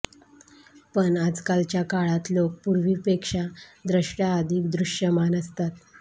पण आजकालच्या काळात लोक पूर्वीपेक्षा द्रष्ट्या अधिक दृश्यमान असतात